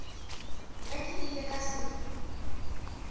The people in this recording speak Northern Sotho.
ge ke ile ka se